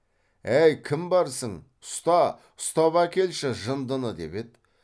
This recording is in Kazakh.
әй кім барсың ұста ұстап әкелші жындыны деп еді